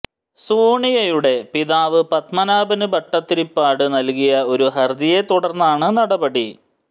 സോണിയുടെ പിതാവ് പത്മനാഭന് ഭട്ടതിരിപ്പാട് നല്കിയ ഒരു ഹര്ജിയെ തുടര്ന്നാണ് നടപടി